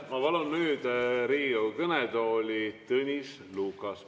Ma palun nüüd Riigikogu kõnetooli Tõnis Lukase.